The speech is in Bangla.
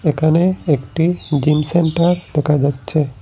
এখানে একটি জিমসেন্টার দেখা যাচ্ছে।